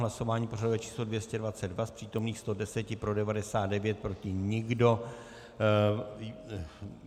Hlasování pořadové číslo 222, z přítomných 110 pro 99, proti nikdo.